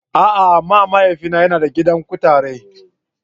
A'a! amma mahaifina yana da gidan kutarai.